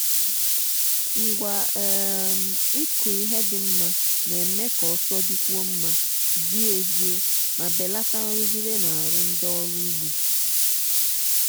ngwa um ịkụ ihe dị mma na-eme ka ọsọ dịkwuo mma zie ezie ma belata nrụgide n'ahụ ndị ọrụ ugbo.